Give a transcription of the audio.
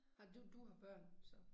Har du du har børn så